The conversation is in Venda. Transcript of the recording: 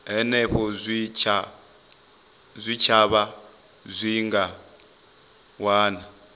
henefho zwitshavha zwi nga wana